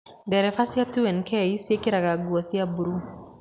Ndereba cia 2nk ciĩkĩraga nguo cia mburuu.